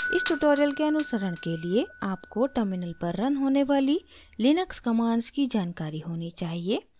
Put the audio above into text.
इस tutorial के अनुसरण के लिए आपको terminal पर रन होने वाली लिनक्स commands की जानकारी होनी चाहिए